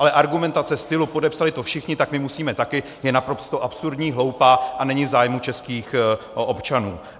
Ale argumentace stylu "podepsali to všichni, tak my musíme taky", je naprosto absurdní, hloupá a není v zájmu českých občanů.